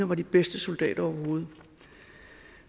var de bedste soldater overhovedet